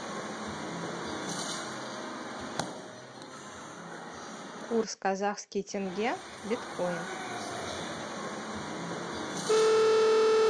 курс казахский тенге биткоин